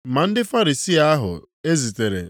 Ma ndị Farisii ahụ ezitere